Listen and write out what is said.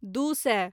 दू सए